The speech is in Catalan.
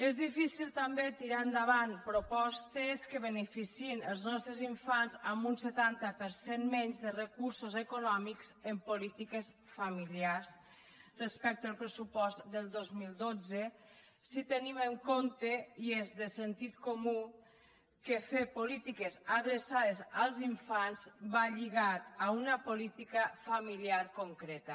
és difícil també tirar endavant propostes que beneficiïn els nostres infants amb un setanta per cent menys de recursos econòmics en polítiques familiars respecte al pressupost del dos mil dotze si tenim en compte i és de sentit comú que fer polítiques adreçades als infants va lligat a una política familiar concreta